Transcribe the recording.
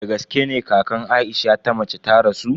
Dagaske ne kakan Aisha ta mace ta rasu?